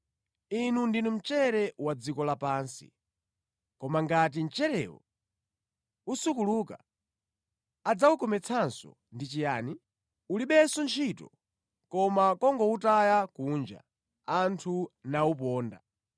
“Inu ndinu mchere wa dziko lapansi. Koma ngati mcherewo usukuluka, adzawukometsanso ndi chiyani? Ulibenso ntchito koma kungowutaya kunja, anthu nawuponda.